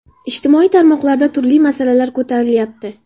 Ijtimoiy tarmoqlarda turli masalalar ko‘tarilyapti.